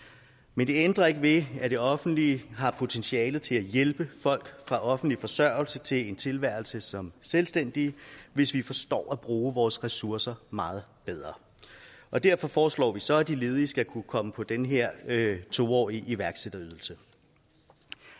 men det ændrer ikke ved at det offentlige har potentialer til at hjælpe folk fra offentlig forsørgelse til en tilværelse som selvstændige hvis vi forstår at bruge vores ressourcer meget bedre og derfor foreslår vi så at de ledige skal kunne komme på den her to årige iværksætterydelse